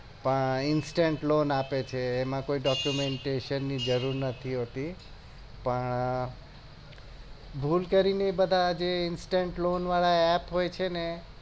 હા instance lone આપે છે એમાં કોઈ documentation ની જરૂર નથી હોતી પણ ભૂલ કરી ને બધા જે instance lone વાળા app હોય છે ને